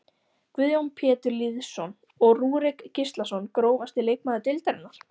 Guðjón Pétur Lýðsson og Rúrik Gíslason Grófasti leikmaður deildarinnar?